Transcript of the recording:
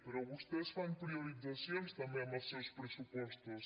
però vostès fan prioritzacions també en els seus pressupostos